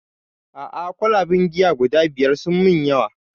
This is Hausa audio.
A'a kwalaben giya guda biyar sun min yawa